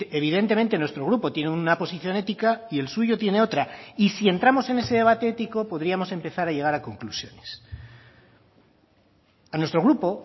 evidentemente nuestro grupo tiene una posición ética y el suyo tiene otra y si entramos en ese debate ético podríamos empezar a llegar a conclusiones a nuestro grupo